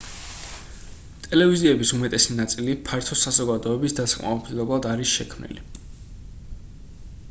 ტელევიზიების უმეტესი ნაწილი ფართო საზოგადოების დასაკმაყოფილებლად არის შექმნილი